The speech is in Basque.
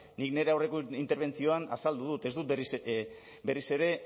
nik nire aurreko interbentzioan azaldu dut ez dut berriz ere